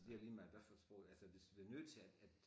Det ligemeget hvad for et sprog altså hvis vi er nødt til at at